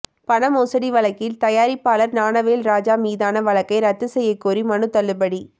பண மோசடி வழக்கில் தயாரிப்பாளர் ஞானவேல் ராஜா மீதான வழக்கை ரத்து செய்யக்கோரிய மனு தள்ளுபடி